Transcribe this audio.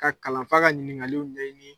Ka kalanfa ka ɲininkaliw ɲɛɲini